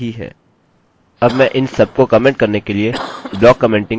अब मैं इन सबको कमेन्ट करने के लिए ब्लाक कमेंटिंग का उपयोग करूँगा